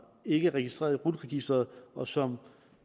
ikke er registreret i rut registeret og som